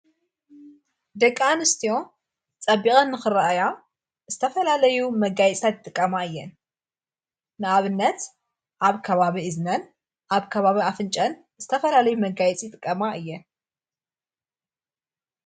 ደቂኣንስትዮ ጸቢቐን ኽረአያ እስተፈላለዩ መጋይጻት ጥቀማ እየን ንኣብነት ኣብ ካባቢ እዝነን ኣብ ካባቢ ኣፍንጨን እስተፈላለዩ መጋይጺ ጥቀማ እየን::